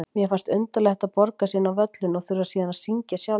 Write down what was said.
Mér fannst undarlegt að borga sig inn á völlinn og þurfa síðan að syngja sjálfur.